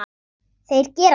Þeir gera svo.